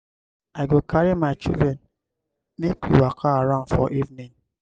i go carry my children make we waka around for evening.